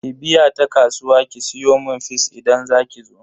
Ki biya ta kasuwa ki siyomun fis idan zakizo.